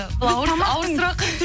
бұл ауыр сұрақ